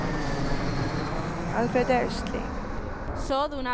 Alfred Östling